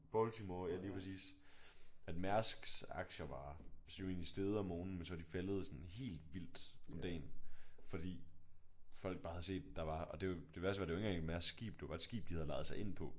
Baltimore ja lige præcis at Mærsks aktier var jo egentlig steget om morgenen men så var de faldet sådan helt vildt om dagen fordi folk bare havde set der var og det jo det værste var det var ikke engang et Mærsk skib det var bare et skib de havde lejet sig ind på